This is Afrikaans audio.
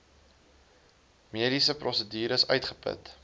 mediese prosedures uitgeput